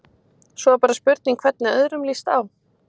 Svo er bara spurning hvernig öðrum lýst á?